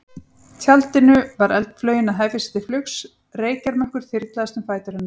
tjaldinu var eldflaugin að hefja sig til flugs, reykjarmökkur þyrlaðist um fætur hennar.